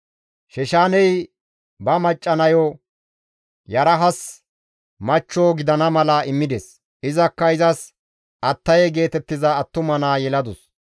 Sheshaaney ba macca nayo Yarahas machcho gidana mala immides; izakka izas Attaye geetettiza attuma naa yeladus.